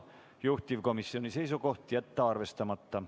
Juhtivkomisjoni seisukoht on jätta see arvestamata.